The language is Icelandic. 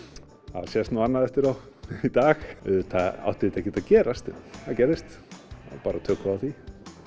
að sést nú annað eftir þá í dag auðvitað átti þetta ekkert að gerast en það gerðist og þá tökum við á því